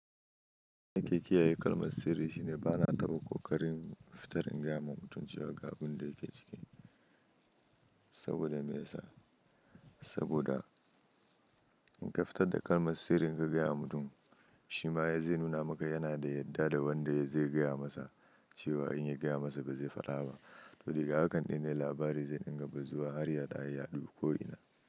Nake kiyaye kalmar sirri shine bana taɓa ƙoƙarin fitarin gaya wa mutum cewa ga abin da yake ciki saboda me ya sa? Saboda in ka fitar da kalmar sirrin ka gaya wa mutum, shi ma ya zai nuna maka yana da yarda da wanda zai gaya masa cewa in ya gaya masa ba zai faɗa ba. To daga hakan dai ne labari zai inga bazuwa har ya ya yaɗu ko ina.